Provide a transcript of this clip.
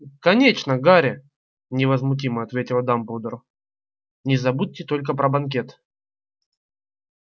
конечно гарри невозмутимо ответил дамблдор не забудь только про банкет